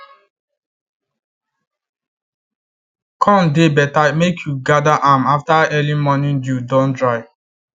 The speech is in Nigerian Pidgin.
corn dey better make you gather am after early morning dew don dry